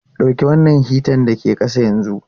Dauki wannan hitan da ke ƙasa yanzu!